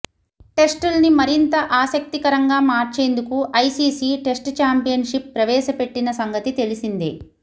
టెస్టుల్ని మరింత ఆసక్తికరంగా మార్చేందుకు ఐసీసీ టెస్టు ఛాంపియన్షిప్ ప్రవేశ పెట్టిన సంగతి తెలిసిందే